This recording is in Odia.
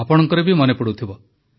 ଆପଣଙ୍କର ବି ମନେଥିବ